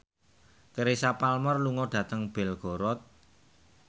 Teresa Palmer lunga dhateng Belgorod